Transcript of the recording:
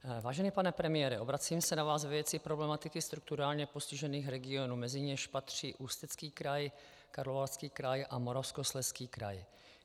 Vážený pane premiére, obracím se na vás ve věci problematiky strukturálně postižených regionů, mezi něž patří Ústecký kraj, Karlovarský kraj a Moravskoslezský kraj.